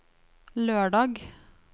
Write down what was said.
lørdag